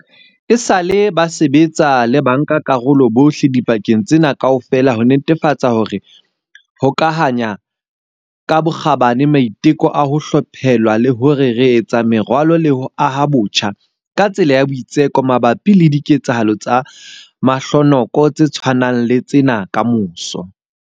Esale ba sebetsa le bankakarolo bohle dibakeng tsena kaofela ho netefatsa hore re hokahanya ka bokgabane maiteko a ho hlaphohelwa le hore re etsa meralo le ho aha botjha ka tsela ya boitseko mabapi le diketsahalo tse mahlonoko tse tshwanang le tsena kamoso.